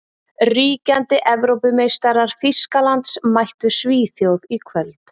Ríkjandi Evrópumeistarar Þýskalands mættu Svíþjóð í kvöld.